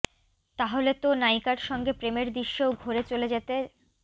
তাহলে তো নায়িকার সঙ্গে প্রেমের দৃশ্যেও ঘোরে চলে যেতে